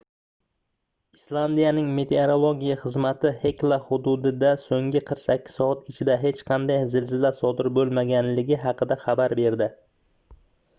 islandiyaning meteorologiya xizmati xekla xududida soʻnggi 48 soat ichida hech qanday zilzila sodir boʻlmaganligi haqida xabar berdi